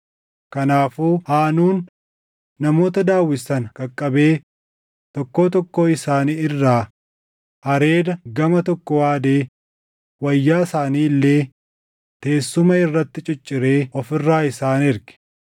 Kanaafuu Haanuun namoota Daawit sana qaqqabee tokkoo tokkoo isaanii irraa hareeda gama tokkoo haadee wayyaa isaanii illee teessuma irratti cicciree of irraa isaan erge.